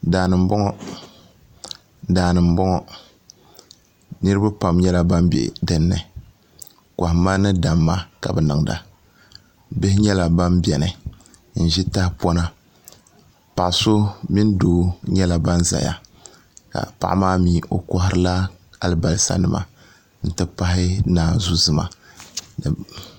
daani n boŋo niraba pam nyɛla ban bɛ dinni kohamma ni damma ka bi niŋda bihi nyɛla ban biɛni n ʒi tahapona paɣa so mini doo nyɛla ban ʒɛya ka paɣa maa mii o koharila alibarisa nima n ti pahi naanzu zima